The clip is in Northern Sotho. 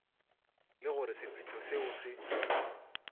le gore sephetho seo se